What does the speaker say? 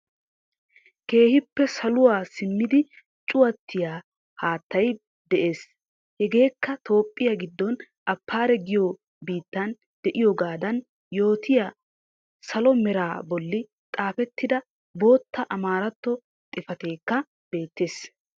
Keehippe saluwa simmiddi cuuwatiyaa haattay de'ees. Hegeekka toophphiya giddon Affar giyo biittan de'iyoogadaan yootiyaa salo meraa bollan xafetidda bootta amaaratoo xifatekka beettees.